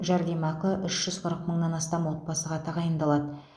жәрдемақы үш жүз қырық мыңнан астам отбасыға тағайындалады